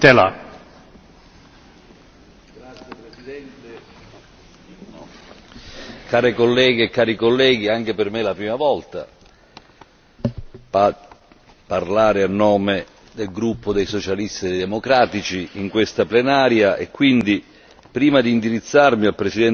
Signor Presidente, onorevoli colleghi, anche per me è la prima volta a parlare a nome del gruppo dei socialisti e dei democratici in questa Plenaria e quindi, prima di indirizzarmi al presidente van Rompuy e al presidente Barroso,